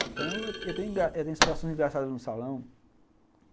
Então, eu tenho situações engraçadas no salão.